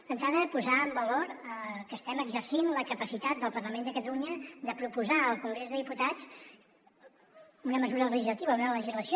d’entrada posar en valor que estem exercint la capacitat del parlament de catalunya de proposar al congrés dels diputats una mesura legislativa una legislació